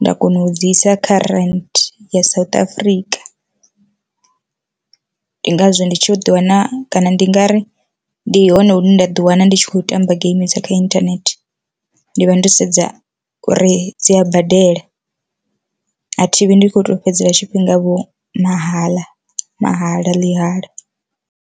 nda kona u dzi isa kha Rand South South Africa. Ndi ngazwo ndi tshi uḓi wana kana ndi nga ri ndi hone hune nda ḓi wana ndi tshi khou tamba geimi dza kha inthanethe, ndi vha ndo sedza uri dzi a badela a thivhi ndi kho to fhedza tshifhinga vho mahaḽa mahala ḽihala.